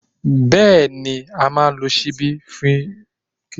Bẹ́ẹ̀ni, a máa lo ṣíbí fi jẹun